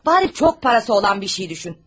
Heç olmasa çox pulu olan bir şey düşün.